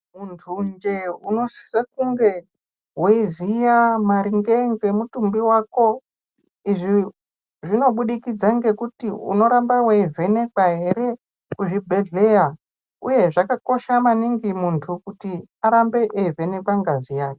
Muntu njee unosise kunge weiziya maringe ngemutumbi wako izvi zvinobudikidza ngekuti unoramba weivhenekwa ere kuzvibhedhleya uye zvakakosha maningi muntu kuti arambe eivhenekwa ngazi yake.